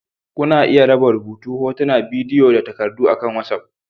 Kuna iya raba rubutu, hotuna, bidiyo da takardu akan WhatsApp